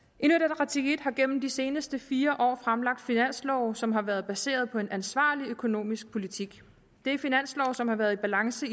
side har gennem de seneste fire år fremsat finanslove som har været baseret på en ansvarlig økonomisk politik det er finanslove som har været i balance